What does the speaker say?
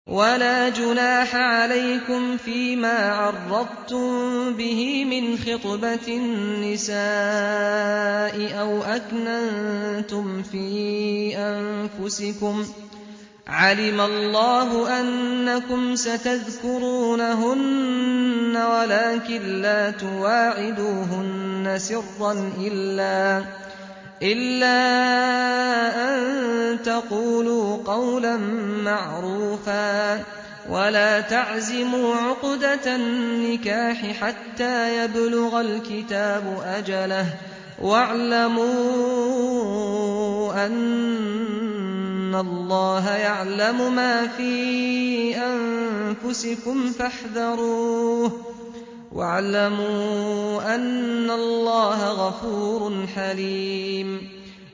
وَلَا جُنَاحَ عَلَيْكُمْ فِيمَا عَرَّضْتُم بِهِ مِنْ خِطْبَةِ النِّسَاءِ أَوْ أَكْنَنتُمْ فِي أَنفُسِكُمْ ۚ عَلِمَ اللَّهُ أَنَّكُمْ سَتَذْكُرُونَهُنَّ وَلَٰكِن لَّا تُوَاعِدُوهُنَّ سِرًّا إِلَّا أَن تَقُولُوا قَوْلًا مَّعْرُوفًا ۚ وَلَا تَعْزِمُوا عُقْدَةَ النِّكَاحِ حَتَّىٰ يَبْلُغَ الْكِتَابُ أَجَلَهُ ۚ وَاعْلَمُوا أَنَّ اللَّهَ يَعْلَمُ مَا فِي أَنفُسِكُمْ فَاحْذَرُوهُ ۚ وَاعْلَمُوا أَنَّ اللَّهَ غَفُورٌ حَلِيمٌ